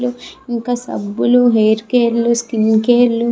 ఇంకా సబ్బులు hair care లు స్కిన్ కేర్ లు --